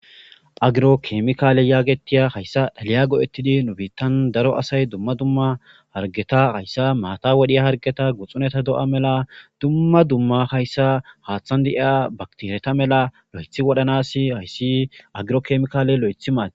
Agiro kemikaale yaagetiya hayssa liya go'ettidi nu biittan daro asay dumma dumma hargeta hayssa maata wodhiya hargeta guxuneta do'a mela dumma dumma hayssa haaththan deiya baktereta mela lo'ethi wodhanasi hayssi agiro kemikaale lo'ethi maadees